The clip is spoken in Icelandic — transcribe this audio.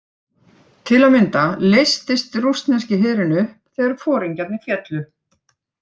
Til að mynda leystist rússneski herinn upp þegar foringjarnir féllu.